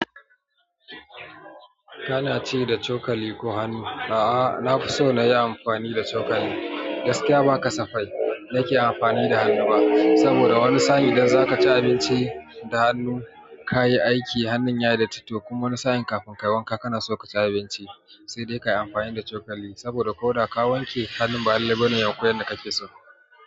Kana ci da cokali koh hannu? A'a, nafi so nayi amfani da cokali. Gaskiya ba kasafai nake amfani da hannu ba, saboda wani sa'in idan zaka ci abinci da hannu, kayi aiki hannun yayi datti to kuma wani sa'in kafin kayi wanka kana so kaci abinci, sai dai kayi amfani da cokali. Saboda koda ka wanke hannun ba lalle bane ya wanku yadda kake so.